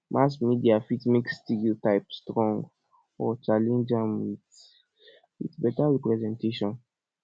mass media fit make stereotype strong or challenge am with with beta representation